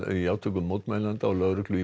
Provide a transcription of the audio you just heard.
í átökum mótmælenda og lögreglu í